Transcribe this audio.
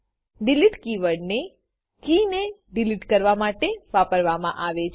delete keyword ને કે ને ડીલીટ કરવામાટે વાપરવામાં આવે છે